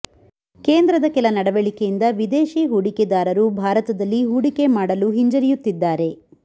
ಕೇಂದ್ರದ ಕೆಲ ನಡವಳಿಕೆಯಿಂದ ವಿದೇಶಿ ಹೂಡಿಕೆದಾರರು ಭಾರತದಲ್ಲಿ ಹೂಡಿಕೆ ಮಾಡಲು ಹಿಂಜರಿಯುತ್ತಿದ್ದಾರೆ